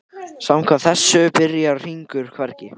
Samkvæmt þessu byrjar hringur hvergi.